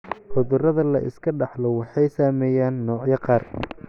Cudurada la iska dhaxlo waxay saameeyaan noocyada qaar.